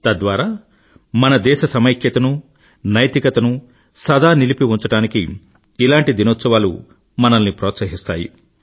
తద్వారా మన దేశ సమైక్యత ను నైతికతను సదా నిలిపి ఉంచడానికి ఇలాంటి దినోత్సవాలు మనల్ని ప్రోత్సహిస్తాయి